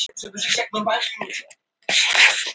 Við erum sáttir við ákvörðunina.